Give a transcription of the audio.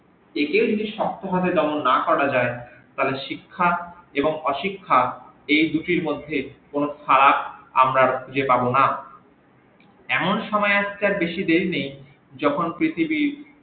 একে না করা যাই তার শিক্ষা এবং অশিক্ষা এই দুটির মধ্যে কোন ফারাক আমরা আর খুজে পাব না এমন সময় আর বেশি দেরি নেই যখন পৃথিবী